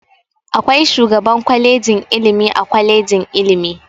Akwai shugaban kwalejin ilimi a kwalejin ilimi.